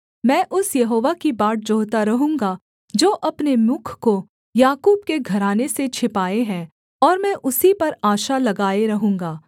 मैं उस यहोवा की बाट जोहता रहूँगा जो अपने मुख को याकूब के घराने से छिपाये है और मैं उसी पर आशा लगाए रहूँगा